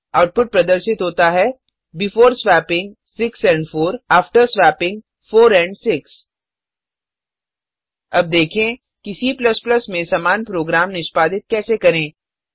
output प्रदर्शित होता है before swapping 6 and 4 after swapping 4 and 6 अब देखें कि C में समान प्रोग्राम निष्पादित कैसे करें